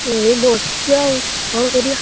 ଏଇ ବସିଛି ଆଉ କଣ କରିଆ?